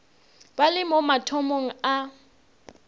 ba le mo mathomong a